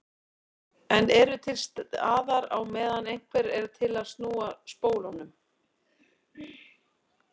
En eru til staðar á meðan einhver er til að snúa spólunum.